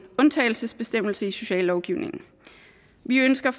undtagelsesbestemmelse i sociallovgivningen vi ønsker